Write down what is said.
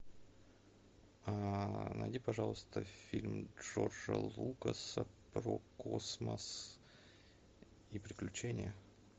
а найди пожалуйста фильм джорджа лукаса про космос и приключения